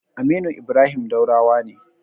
Aminu Ibrahim Daurawa ne.